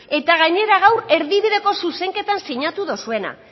eta gainera gaur erdibideko zuzenketan sinatu duzuena